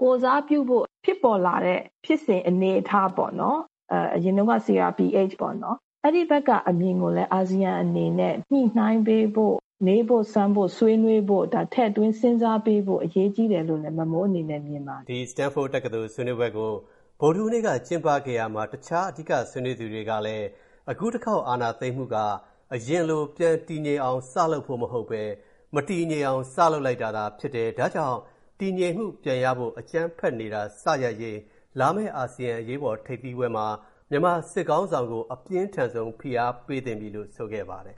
၊ ကိုယ်စားပြုဖို့ဖြစ်ပေါ်လာတဲ့ ဖြစ်စဉ်အနေအထားပေါ့နော်၊ အရင်တုံးကတော့ CRPH (ပြည်သူ့လွှတ်တော်ကိုယ်စားပြုကော်မတီ) ပေါ့နော်။ အဲ့ဒီဘက်က အမြင်ကိုလည်း အာဆီယံအနေနဲ့ ၊ညှိုနှိုင်းပေးဖို့၊ မေးဖို့၊ စမ်းဖို့၊ ဆွေးနွေးဖို့၊ ဒါထည့်သွင်းစဉ်းစားပေးဖို့ အရေးကြီးတယ်" လို့လဲ မမိုးအနေနဲ့ မြင်ပါတယ်။ ဒီ Stanford တက္ကသိုလ်ဆွေးနွေးပွဲကို ဗုဒ္ဓဟူးနေ့က ကျင်းပခဲ့ရာမှာ၊ တခြားအဓိကဆွေးနွေးသူတွေကလည်း၊ အခုတစ်ခေါက်အာဏာသိမ်းမူက၊ အရင်လို ပြန်တည်ငြိမ်အောင်စလုပ်ဖို့မဟုတ်ဘဲ၊ မတည်ငြိမ်အောင် စလုပ်လိုက်တာသာဖြစ်တယ်၊ ဒါကြောင့် တည်ငြိမ်မူပြန်ရဖို့၊ အကြမ်းဖက်နေတာစရပ်ရေး၊ လာမဲ့အာဆီယံအရေးပေါ်ထိပ်သီးပွဲမှာ၊ မြန်မာစစ်ခေါင်းဆောင်ကို အပြင်းထန်ဆုံး ဖိအားပေးသင့်ပြီလို့ ဆိုခဲ့ပါတယ်